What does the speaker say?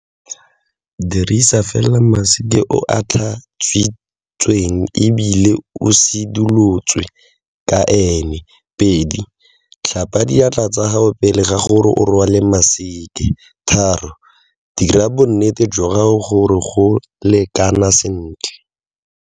Dirisa fela maseke o o tlhatswitsweng ebile o sidilotswe ka aene. 2, tlhapa diatla tsa gago pele ga gore o rwale maseke. 3, dira bo nnete jwa gore o go lekana sentle.